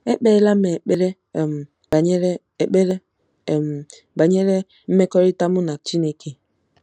Ekpeela m ekpere um banyere ekpere um banyere mmekọrịta mụ na Chineke?